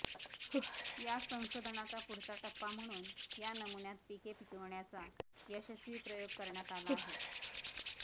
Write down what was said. याच संशोधनाचा पुढचा टप्पा म्हणून या नमुन्यात पिके पिकविण्याचा यशस्वी प्रयोग करण्यात आला आहे